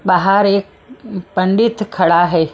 बाहर एक पंडित खड़ा है।